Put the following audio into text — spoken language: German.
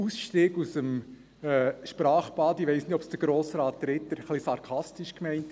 Ausstieg aus dem Sprachbad: Ich weiss nicht, ob Grossrat Ritter es ein wenig sarkastisch gemeint hat.